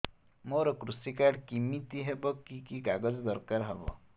ମୋର କୃଷି କାର୍ଡ କିମିତି ହବ କି କି କାଗଜ ଦରକାର ହବ